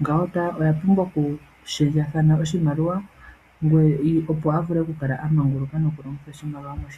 ngawo owa pumbwa okushendjathana oshimaliwa, opo wu vule oku kala a manguluka noku longitha oshimaliwa moshilongo moka.